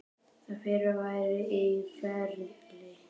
Það fyrra væri í ferli.